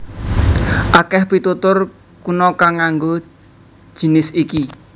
Akèh pitutur kuna kang nganggo jinis iki